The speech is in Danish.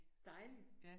Dejligt